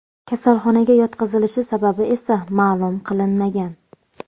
Kasalxonaga yotqizilishi sababi esa ma’lum qilinmagan.